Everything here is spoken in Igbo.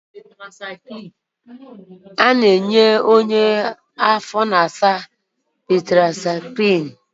Onye afọ na-asa, a na-enye ya tetrasaịklin